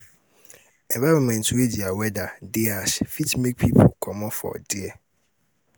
environment wey their weather de ash fit make make pipo comot for there